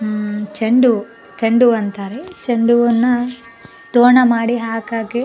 ಉಮ್ಮ್ ಚೆಂಡು ಹೂವು ಚೆಂಡು ಹೂ ಅಂತಾರೆ ಚೆಂಡು ಹೂವ್ ಅನ್ನ ತೋರಣ ಮಾಡಿ ಹಾಕಾಕೆ --